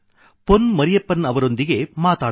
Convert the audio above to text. ಪೊನ್ ಮರಿಯಪ್ಪನ್ ಅವರೊಂದಿಗೆ ಮಾತಾಡೋಣ